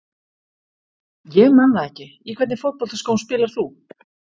Ég man það ekki Í hvernig fótboltaskóm spilar þú?